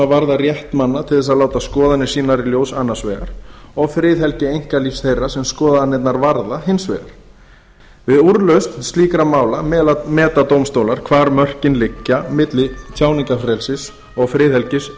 varða rétt manna til að láta skoðanir sínar í ljós annars vegar og friðhelgi einkalífs þeirra sem skoðanirnar varða hins vegar við úrlausn slíkra mála meta dómstólar hvar mörkin liggja milli tjáningarfrelsis og friðhelgi